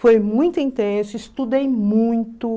Foi muito intenso, estudei muito.